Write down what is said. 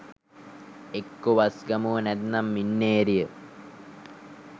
එක්කො වස්ගමුව නැත්නම් මින්නේරිය